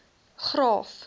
graaff